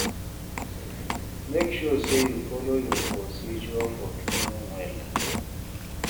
mek sure say yu follow yur procedure for cleaning wella